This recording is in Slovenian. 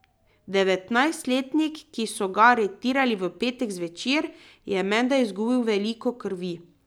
Devetnajstletnik, ki so ga aretirali v petek zvečer, je menda izgubil veliko krvi.